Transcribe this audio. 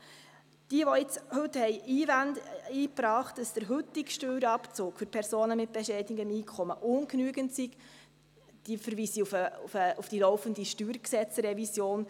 Alle, welche heute den Einwand brachten, wonach der heutige Steuerabzug für Personen mit bescheidenem Einkommen ungenügend sei, verweise ich auf die laufende StG-Revision.